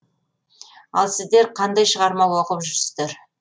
ал сіздер қандай шығарма оқып жүрсіздер